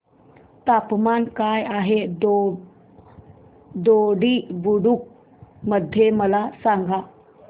तापमान काय आहे दोडी बुद्रुक मध्ये मला सांगा